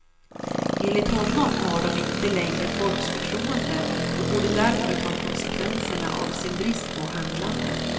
Enligt honom har de inte längre folks förtroende och borde därför ta konsekvenserna av sin brist på handlande.